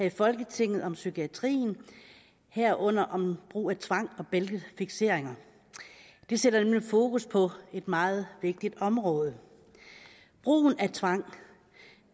i folketinget om psykiatrien herunder om brug af tvang og bæltefikseringer det sætter nemlig fokus på et meget vigtigt område brugen af tvang